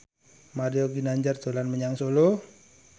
Mario Ginanjar dolan menyang Solo